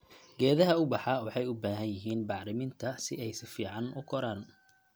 Geedaha ubaxa waxay u baahan yihiin bacriminta si ay si fiican u koraan.